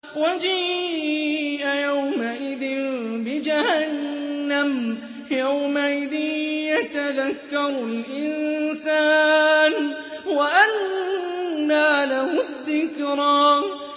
وَجِيءَ يَوْمَئِذٍ بِجَهَنَّمَ ۚ يَوْمَئِذٍ يَتَذَكَّرُ الْإِنسَانُ وَأَنَّىٰ لَهُ الذِّكْرَىٰ